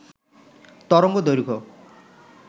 তরঙ্গ দৈর্ঘ্য